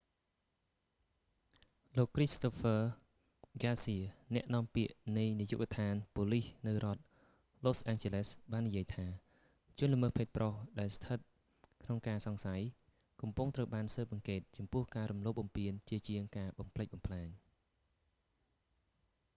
លោក christopher garcia គ្រីស្តូហ្វឺ ហ្គាស៊ៀ អ្នកនាំពាក្យនៃនាយកដ្ឋានប៉ូលិសនៅរដ្ឋ los angeles បាននិយាយថា ជនល្មើសភេទប្រុស ដែលស្ថិតក្នុងការសង្ស័យ កំពុងត្រូវបានស៊ើបអង្កេតចំពោះការរំលោភបំពានជាជាងការបំផ្លិចបំផ្លាញ